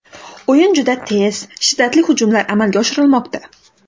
O‘yin juda tez, shiddatli hujumlar amalga oshirilmoqda.